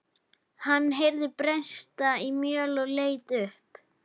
Hann heyrði bresta í möl og leit upp.